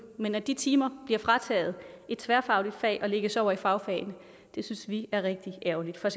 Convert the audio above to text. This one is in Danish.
men at de timer bliver frataget et tværfagligt fag og lægges over i fagfagene synes vi er rigtig ærgerligt for